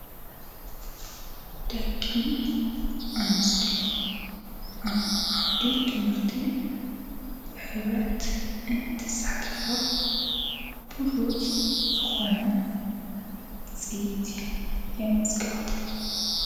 ደቂ ኣንስቴዮ ኣብ ዓውዲ ትምህርቲ ብኅብረት እንቲሳሕተፋ ቡድወፁ ዝኾነ ጽይቲ የመዘግባ::